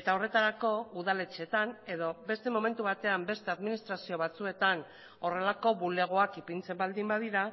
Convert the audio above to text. eta horretarako udaletxeetan edo beste momentu batean beste administrazio batzuetan horrelako bulegoak ipintzen baldin badira